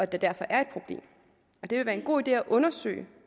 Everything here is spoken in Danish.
der derfor er et problem det vil være en god idé at undersøge